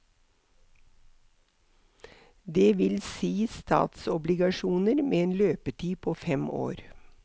Det vil si statsobligasjoner med en løpetid på fem år.